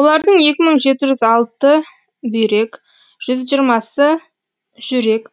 олардың екі мың алты бүйрек жүз жиырмасы жүрек